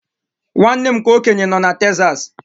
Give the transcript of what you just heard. Nwanne m nke okenye nọ na Texas.